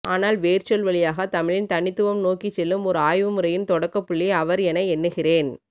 ஆனால் வேர்ச்சொல் வழியாக தமிழின் தனித்துவம் நோக்கிச்செல்லும் ஓர் ஆய்வுமுறையின் தொடக்கப்புள்ளி அவர் என எண்ணுகிறேன்